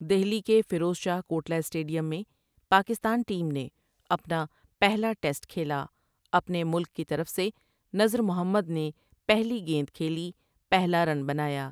دہلی کے فیروز شاہ کوٹلہ سٹیڈیم میں پاکستان ٹیم نے اپنا پہلا ٹیسٹ کھیلا اپنے ملک کی طرف سے نذر محمد نے پہلی گیند کھیلی پہلا رن بنایا ۔